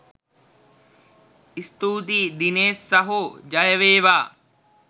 ස්තුතියි දිනේෂ් සහෝ ජය වේවා!